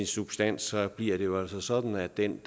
substansen bliver det jo altså sådan at den